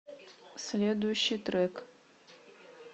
следующий трек